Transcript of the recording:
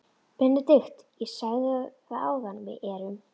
BENEDIKT: Ég sagði það áðan: Við erum.